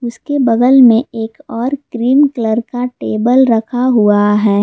इसके बगल में एक और क्रीम कलर का टेबल रखा हुआ था।